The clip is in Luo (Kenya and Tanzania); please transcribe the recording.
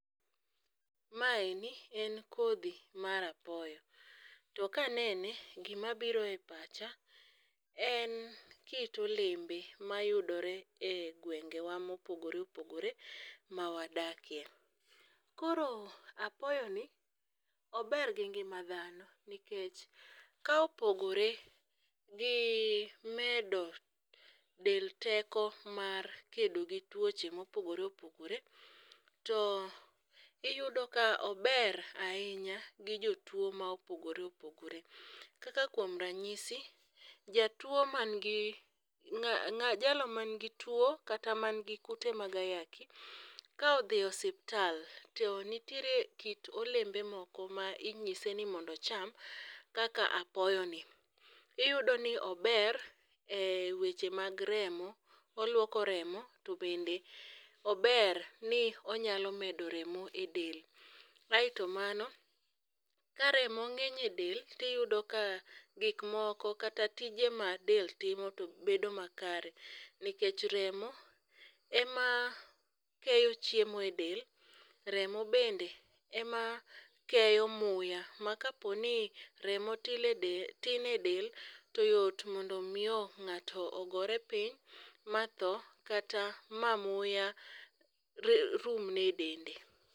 Maeni en kodhi mar apoyo to kanene gimabiro e pacha en kit olembe mayudore e gwengewa mopogore opogore mawadakie. Koro apoyoni ober gi ngima dhano nikech ka opogore gi medo del teko mar kedo gi tuoche mopogore opogore, to iyudo ka ober ahinya gi jotuo ma opogore opogore kaka kuom ranyisi, jalo magi tuo kata kute mag ayaki ka odhi osiptal to nitiere kit olembe moko ma inyise ni mondo ocham kaka apoyoni. Iyudo ni ober e weche mag remo, oluoko remo to bende ober ni onyalo medo remo e del. Aeto mano ka remo ng'eny e del tiyudo ka gikmoko kata tije ma del timo to bedo makare nikech remo emakeyo chiemo e del remo bende emakeyo muya ma kaponi remo tin e del to yot mondo mio ng'ato gore piny matho kata ma muya rumne e dende.